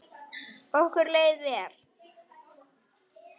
Okkur leið vel.